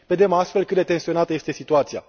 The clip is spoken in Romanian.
Vedem, astfel, cât de tensionată este situația.